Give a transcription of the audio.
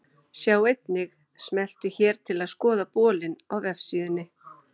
Sjá einnig: Smelltu hér til að skoða bolinn á vefsíðunni.